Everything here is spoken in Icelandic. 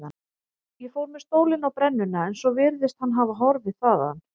Ég fór með stólinn á brennuna en svo virðist hann hafa horfið þaðan.